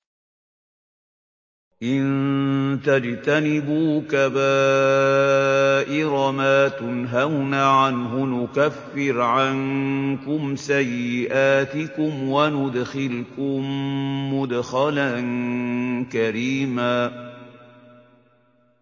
إِن تَجْتَنِبُوا كَبَائِرَ مَا تُنْهَوْنَ عَنْهُ نُكَفِّرْ عَنكُمْ سَيِّئَاتِكُمْ وَنُدْخِلْكُم مُّدْخَلًا كَرِيمًا